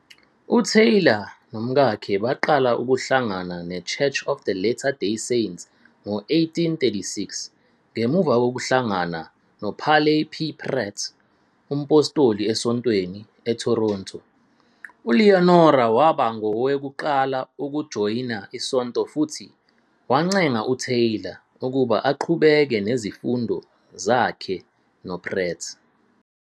UTaylor nomkakhe baqala ukuhlangana neChurch of the Latter Day Saints ngo-1836 ngemuva kokuhlangana noParley P. Pratt, umphostoli esontweni, eToronto. ULeonora waba ngowokuqala ukujoyina isonto futhi wancenga uTaylor ukuba aqhubeke nezifundo zakhe noPratt.